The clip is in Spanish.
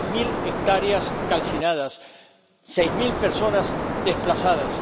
Diez mil hectáreas calcinadas, seis mil personas desplazadas.